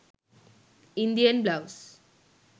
indian blouse